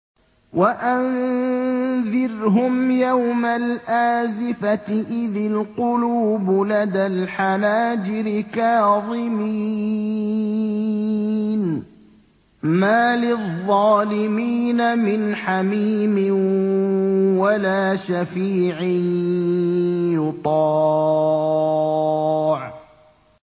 وَأَنذِرْهُمْ يَوْمَ الْآزِفَةِ إِذِ الْقُلُوبُ لَدَى الْحَنَاجِرِ كَاظِمِينَ ۚ مَا لِلظَّالِمِينَ مِنْ حَمِيمٍ وَلَا شَفِيعٍ يُطَاعُ